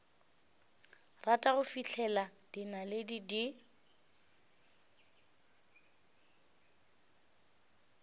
rata go fihlela dinaledi di